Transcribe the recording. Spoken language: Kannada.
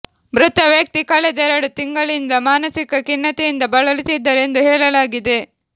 ಮೃತ ವ್ಯಕ್ತಿ ಕಳೆದ ಎರಡು ತಿಂಗಳಿಂದ ಮಾನಸಿಕ ಖಿನ್ನತೆಯಿಂದ ಬಳಲುತ್ತಿದ್ದರು ಎಂದು ಹೇಳಲಾಗಿದೆ